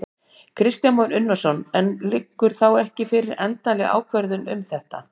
Kristján Már Unnarsson: En liggur þá ekki fyrir endanleg ákvörðun um þetta?